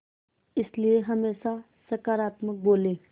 इसलिए हमेशा सकारात्मक बोलें